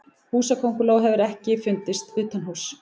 Húsakönguló hefur ekki fundist utanhúss.